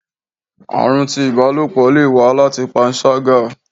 arun tí ibálopọ le wa láti panṣaga